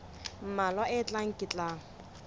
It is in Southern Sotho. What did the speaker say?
mmalwa a tlang ke tla